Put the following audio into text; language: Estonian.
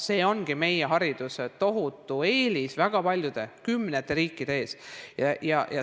See ongi meie hariduse tohutu eelis väga paljude, kümnete riikide ees.